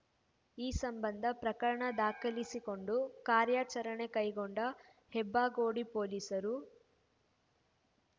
ಈ ಸಂಬಂಧ ಪ್ರಕರಣ ದಾಖಲಿಸಿಕೊಂಡು ಕಾರ್ಯಾಚರಣೆ ಕೈಗೊಂಡ ಹೆಬ್ಬಗೋಡಿ ಪೊಲೀಸರು